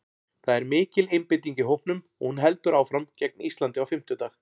Það er mikil einbeiting í hópnum og hún heldur áfram gegn Íslandi á fimmtudag.